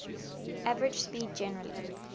average speed generally